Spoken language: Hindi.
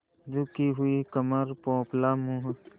झुकी हुई कमर पोपला मुँह